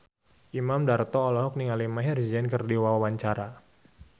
Imam Darto olohok ningali Maher Zein keur diwawancara